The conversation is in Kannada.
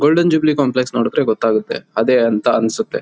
ಗೋಲ್ಡನ್ ಜುಬ್ಲೀ ಕಾಂಪ್ಲೆಕ್ಸ್ ನೋಡುದ್ರೆ ಗೊತ್ತಾಗುತ್ತೆ. ಅದೇ ಅಂತ ಅನ್ಸುತ್ತೆ.